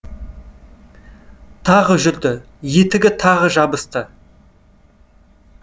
тағы жүрді етігі тағы жабысты